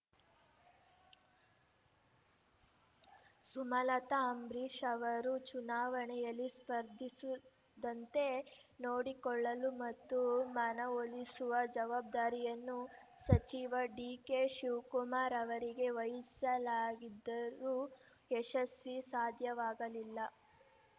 ಸುಮಲತಾ ಅಂಬರೀಷ್ ಅವರು ಚುನಾವಣೆಯಲ್ಲಿ ಸ್ಪರ್ಧಿಸುದಂತೆ ನೋಡಿಕೊಳ್ಳಲು ಮತ್ತು ಮನವೊಲಿಸುವ ಜವಾಬ್ದಾರಿಯನ್ನು ಸಚಿವ ಡಿಕೆ ಶಿವಕುಮಾರ್ ಅವರಿಗೆ ವಹಿಸಲಾಗಿದ್ದರೂ ಯಶಸ್ವಿ ಸಾಧ್ಯವಾಗಲಿಲ್ಲ